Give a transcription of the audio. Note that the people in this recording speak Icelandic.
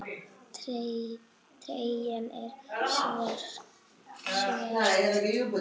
Treyjan er svört.